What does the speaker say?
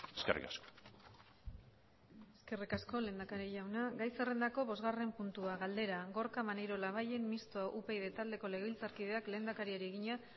eskerrik asko eskerrik asko lehendakari jauna gai zerrendako bosgarren puntua galdera gorka maneiro labayen mistoa upyd taldeko legebiltzarkideak lehendakariari egina